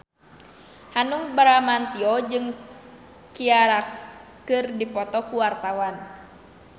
Hanung Bramantyo jeung Ciara keur dipoto ku wartawan